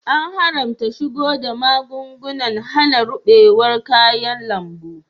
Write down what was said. An haramta shigo da magugnan hana rubewar kayan lambu.